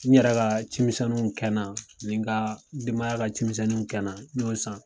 N yɛrɛ ka cimisɛnninw kɛnan ani n ka denbaya ka cimisɛnninw kɛnan n y'o san.